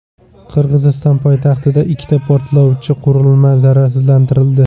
Qirg‘iziston poytaxtida ikkita portlovchi qurilma zararsizlantirildi.